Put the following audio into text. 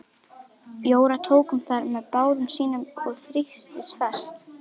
Jóra tók um þær með báðum sínum og þrýsti fast.